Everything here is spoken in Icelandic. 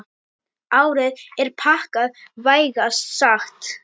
Árið er pakkað, vægast sagt.